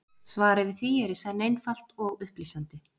Svarið við því er í senn einfalt og upplýsandi.